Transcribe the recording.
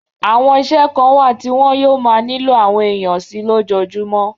Àwọn iṣẹ́ kan wà tí wọn yóò máa nílò àwọn èèyàn sí i lójoojúmó